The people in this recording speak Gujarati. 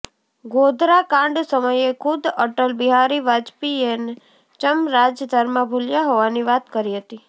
ગોધરાકાંડ સમયે ખુદ અટલ બિહારી વાજપેયીએ ચમ રાજધર્મ ભૂલ્યા હોવાની વાત કરી હતી